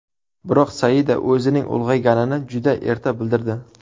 Biroq Saida o‘zining ulg‘ayganini juda erta bildirdi.